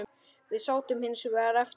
Við sátum hins vegar eftir.